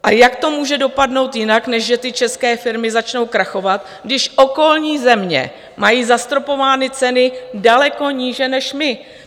A jak to může dopadnout jinak, než že ty české firmy začnou krachovat, když okolní země mají zastropovány ceny daleko níže než my.